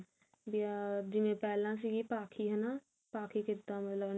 ਯਾ ਜਿਵੇਂ ਪਹਿਲਾਂ ਸੀਗੀ ਪਾਖੀ ਹਨਾ ਮਤਲਬ